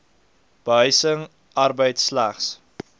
behuising arbeid slegs